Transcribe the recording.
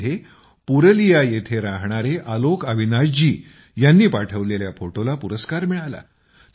यामध्ये पुरलिया येथे राहणारे आलोक अविनाश जी ह्यांनी पाठवलेल्या फोटोला पुरस्कार मिळाला